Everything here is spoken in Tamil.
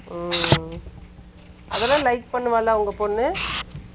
ம். அதெல்லாம் like பண்ணுவாளா உங்க பொண்ணு